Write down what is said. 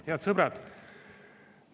Head sõbrad!